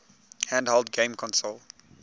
handheld game console